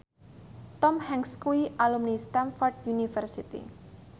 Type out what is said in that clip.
Tom Hanks kuwi alumni Stamford University